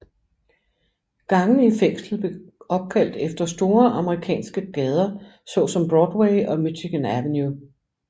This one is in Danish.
Gangene i fængslet blev opkaldt efter store amerikanske gader såsom Broadway og Michigan Avenue